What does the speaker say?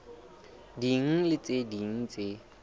ding le tse ding tse